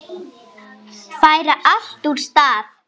Færa allt úr stað.